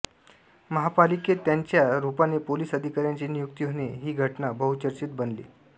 महापालिकेत त्यांच्या रूपाने पोलीस अधिकाऱ्याची नियुक्ती होणे ही घटना बहुचर्चित बनली